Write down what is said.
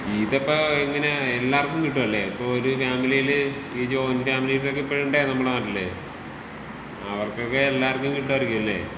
ഇതിപ്പോ ഇങ്ങനേ എല്ലാർക്കും കിട്ടുമല്ലേ ഇപ്പോ ഒര് ഫാമിലീല് ഈ ജോയിന്റ് ഫാമിലീസിലൊക്കെ ഇപ്പഴും ഇണ്ടേ നമ്മടെ നാട്ടില്. അവർക്കൊക്കെ എല്ലാർക്കും കിട്ടുമായിരിക്കുമല്ലേ?